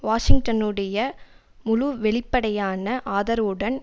வாஷிங்டனுடைய முழு வெளிப்படையான ஆதரவுடன்